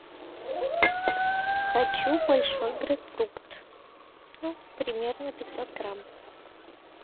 хочу большой грейпфрут ну примерно пятьсот грамм